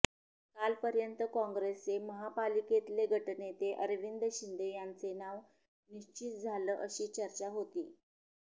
काल पर्यंत काँग्रेसचे महापालिकेतले गटनेते अरविंद शिंदे यांचे नाव निश्चित झालं अशी चर्चा होती